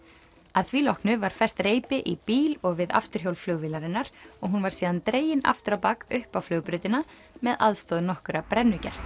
að því loknu var fest reipi í bíl og við afturhjól flugvélarinnar og hún var síðan dregin aftur á bak upp á flugbrautina með aðstoð nokkurra